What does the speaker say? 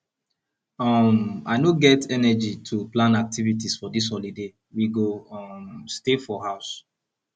um i no get energy to plan activities for dis holiday we go um stay for house